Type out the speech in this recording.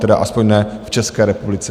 Tedy aspoň ne v České republice.